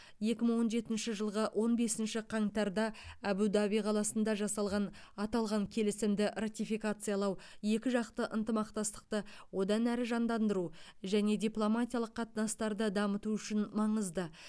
екі мың он жетінші жылғы он бесінші қаңтарда әбу даби қаласында жасалған аталған келісімді ратификациялау екі жақты ынтымақтастықты одан әрі жандандыру және дипломатиялық қатынастарды дамыту үшін маңызды